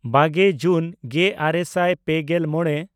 ᱵᱟᱜᱮ ᱡᱩᱱ ᱜᱮᱼᱟᱨᱮ ᱥᱟᱭ ᱯᱮᱜᱮᱞ ᱢᱚᱬᱮ